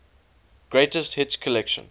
greatest hits collection